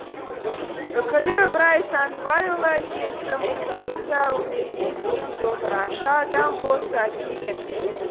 үкілі ыбырай сандыбайұлы әкесі мырзағұл да өнерге бейім домбырашы адам болса керек